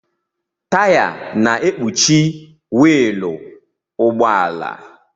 Taya na-ekpuchi wiilụ ụgbọala.